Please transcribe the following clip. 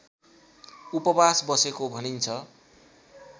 उपवास बसेको भनिन्छ